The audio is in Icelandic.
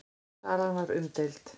Salan var umdeild.